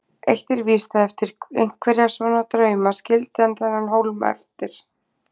Eitt er víst, að eftir einhverja svona drauma skildi hann þennan hólma eftir.